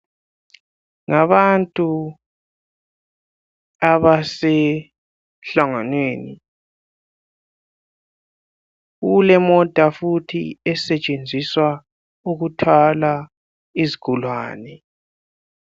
Ngabantu abasemlanganweni. Kulemota futhi esetshenziswa ukuthwala izigulane.